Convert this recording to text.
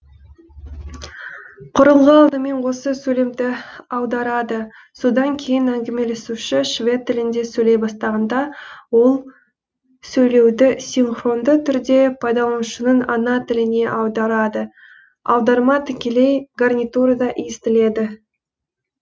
құрылғы алдымен осы сөйлемді аударады содан кейін әңгімелесуші швед тілінде сөйлей бастағанда ол сөйлеуді синхронды түрде пайдаланушының ана тіліне аударады аударма тікелей гарнитурада естіледі